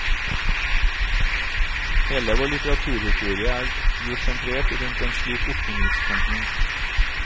Hele vår litteraturhistorie er jo sentrert rundt en slik oppbyggingstenkning.